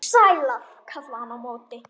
Sælar, kallaði hann á móti.